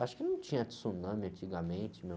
Acho que não tinha tsunami antigamente, meu.